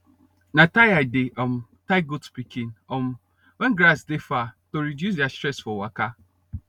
na tie i dey um tie goat pikin um wen grass de far to reduce deir stress for waka